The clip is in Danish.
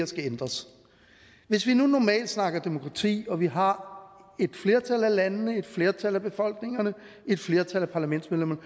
skal ændres hvis vi nu normalt snakker demokrati og vi har et flertal af landene et flertal af befolkningerne et flertal af parlamentsmedlemmerne